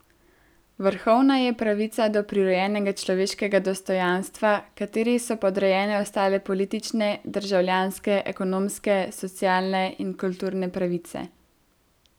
Vrhovna je pravica do prirojenega človeškega dostojanstva, kateri so podrejene ostale politične, državljanske, ekonomske, socialne in kulturne pravice.